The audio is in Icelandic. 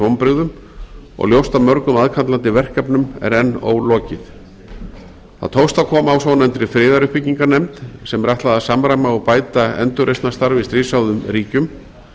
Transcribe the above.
vonbrigðum og ljóst að mörgum aðkallandi verkefnum er enn ólokið það tókst að koma á svonefndri friðaruppbyggingarnefnd sem er ætlað að samræma og bæta endurreisnarstarf í stríðshrjáðum ríkjum